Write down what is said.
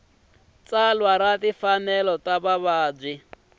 tsalwa ra timfanelo ta vavabyi